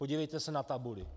Podívejte se na tabuli.